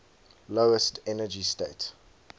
lowest energy state